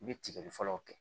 I bɛ tigɛli fɔlɔw kɛ